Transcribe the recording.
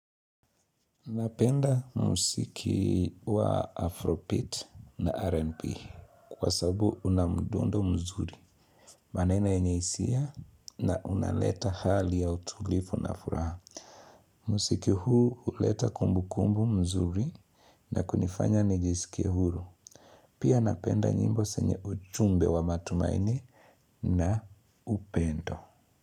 Napenda muziki wa Afrobeat na RNB kwa sababu una mdundo mzuri, maneno yenye hisia na unaleta hali ya utulivu na furaha. Muziki huu huleta kumbukumbu mzuri na kunifanya nijisikie huru. Pia napenda nyimbo zenye ujumbe wa matumaini na upendo.